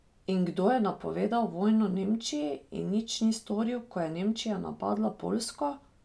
In kdo je napovedal vojno Nemčiji in nič ni storil ko je Nemčija napadla Poljsko?